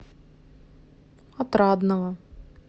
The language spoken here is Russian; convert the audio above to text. отрадного